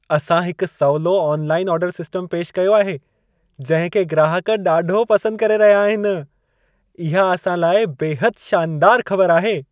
असां हिकु सवलो ऑनलाइन आर्डरु सिस्टमु पेशि कयो आहे, जंहिं खे ग्राहक ॾाढो पसंदि करे रहिया आहिनि। इहा असां लाइ बेहदि शानदारु ख़बर आहे।